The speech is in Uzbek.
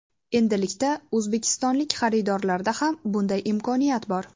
Endilikda o‘zbekistonlik xaridorlarda ham bunday imkoniyat bor.